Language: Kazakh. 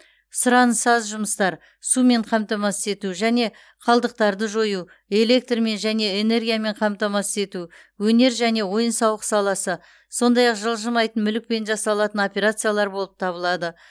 сұранысы аз жұмыстар сумен қамтамасыз ету және қалдықтарды жою электрмен және энергиямен қамтамасыз ету өнер және ойын сауық саласы сондай ақ жылжымайтын мүлікпен жасалатын операциялар болып табылады